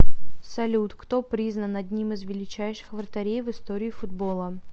салют кто признан одним из величайших вратарей в истории футбола